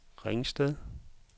Ringsted